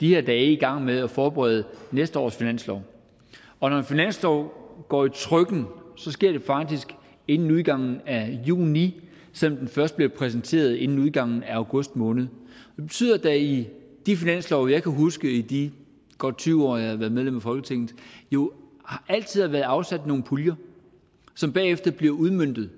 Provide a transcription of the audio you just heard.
i de her dage i gang med at forberede næste års finanslov og når en finanslov går i trykken sker det faktisk inden udgangen af juni selv om den først bliver præsenteret inden udgangen af august måned og det betyder at der i de finanslove jeg kan huske i de godt tyve år jeg har været medlem af folketinget altid har været afsat nogle puljer som bagefter bliver udmøntet